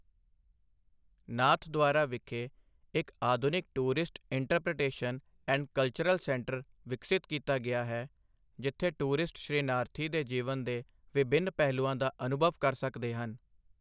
ਨਾਥਦਵਾਰਾ ਵਿਖੇ ਇੱਕ ਆਧੁਨਿਕ tourist interpretation and cultural centre ਵਿਕਸਿਤ ਕੀਤਾ ਗਿਆ ਹੈ, ਜਿੱਥੇ ਟੂਰਿਸਟ ਸ਼੍ਰੀਨਾਥਜੀ ਦੇ ਜੀਵਨ ਦੇ ਵਿਭਿੰਨ ਪਹਿਲੂਆਂ ਦਾ ਅਨੁਭਵ ਕਰ ਸਕਦੇ ਹਨ।